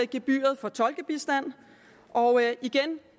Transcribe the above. gebyret på tolkebistand og igen